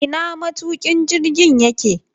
Ina matukin jirgin yake?